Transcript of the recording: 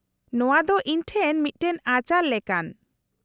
-ᱱᱚᱶᱟ ᱫᱚ ᱤᱧ ᱴᱷᱮᱱ ᱢᱤᱫᱴᱟᱝ ᱟᱪᱟᱨ ᱞᱮᱠᱟᱱ ᱾